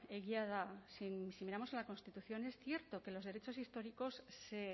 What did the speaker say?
egia da si miramos a la constitución es cierto que los derechos históricos se